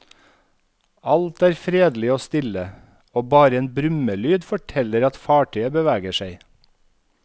Alt er fredelig og stille, og bare en brummelyd forteller at fartøyet beveger seg.